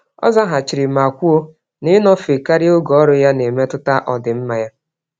Ọ zaghachiri ma kwuo na, ịnọfe karịa oge ọrụ ya, nemetụta ọdịmma ya